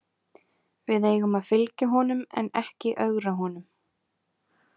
Við eigum að fylgja honum en ekki ögra honum.